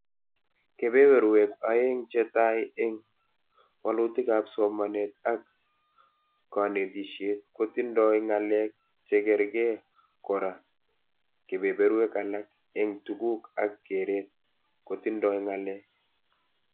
Kebeberwek aeng chetai eng walutikab somanet ak konetishet kotindoi ngalek chekerke kora kebeberwek alak eng tuguk ak keret kotindoi ngalek